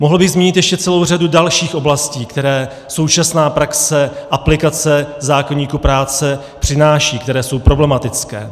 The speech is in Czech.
Mohl bych zmínit ještě celou řadu dalších oblastí, které současná praxe aplikace zákoníku práce přináší, které jsou problematické.